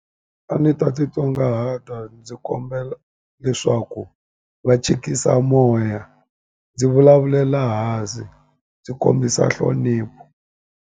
A ni ta titsongahata ndzi kombela leswaku va chikisa moya ndzi vulavulela hansi ndzi kombisa nhlonipho.